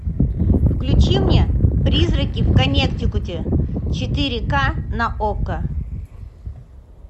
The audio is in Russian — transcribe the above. включи мне призраки в коннектикуте четыре ка на окко